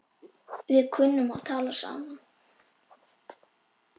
Við kunnum að tala saman.